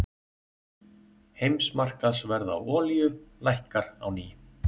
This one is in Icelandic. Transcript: Heimsmarkaðsverð á olíu lækkar á ný